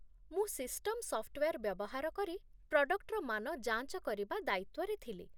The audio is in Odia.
ମୁଁ ସିଷ୍ଟମ୍ ସଫ୍ଟୱେର୍ ବ୍ୟବହାର କରି ପ୍ରଡକ୍ଟର ମାନ ଯାଞ୍ଚ କରିବା ଦାୟିତ୍ୱରେ ଥିଲି